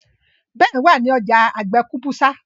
Ben wá ní ọjà àgbè kabusa